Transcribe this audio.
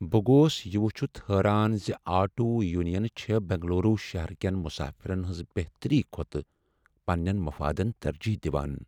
بہٕ گوس یہ وٕچھتھ حیران ز آٹو یونینہٕ چھےٚ بنگلورو شہرٕ کین مسافرن ہنٛز بہتری کھۄتہٕ پننین مفادن ترجیح دوان۔